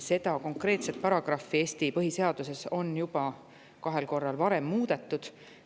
Seda Eesti põhiseaduse konkreetset paragrahvi on juba varem kahel korral muudetud.